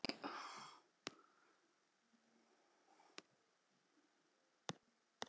Aðalheiður í Tanga sat við píanóið.